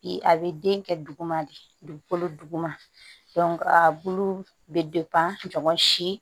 Bi a bɛ den kɛ duguma de dugukolo duguma a bulu bɛ ɲɔn si